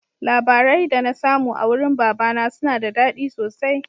Labarai da na samu a wurin baba na suna da daɗi sosai